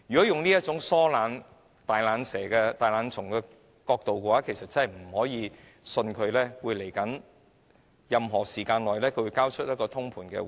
從她這種疏懶及"大懶蟲"的態度判斷，我們難以相信她在未來會交出通盤回應。